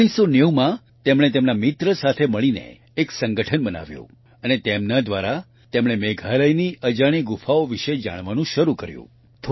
1990 માં તેણે તેના મિત્ર સાથે મળીને એક સંગઠન બનાવ્યું અને તેના દ્વારા તેણે મેઘાલયની અજાણી ગુફાઓ વિશે જાણવાનું શરૂ કર્યું